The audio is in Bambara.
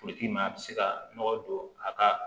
a bɛ se ka nɔgɔ don a ka